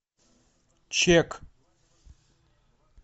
чек